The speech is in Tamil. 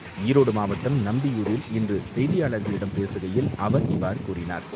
ஈரோடு மாவட்டம் நம்பியூரில் இன்று செய்தியாளர்களிடம் பேசுகையில் அவர் இவ்வாறு கூறினார்.